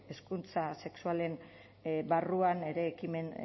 hezkuntza sexualean barruan ere ekimen